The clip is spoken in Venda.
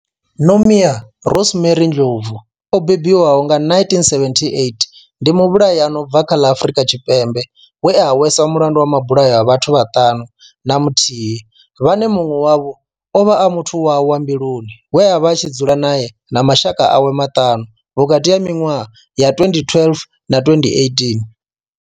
Nomia Rosemary Ndlovu o bebiwaho nga 1978 ndi muvhulahi a no bva kha ḽa Afurika Tshipembe we a hweswa mulandu wa mabulayo a vhathu vhaṱanu na muthihi vhane munwe wavho ovha a muthu wawe wa mbiluni we avha a tshi dzula nae na mashaka awe maṱanu vhukati ha minwaha ya 2012 na 2018.